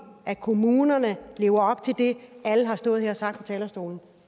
at kommunerne lever op til det alle har stået og sagt her på talerstolen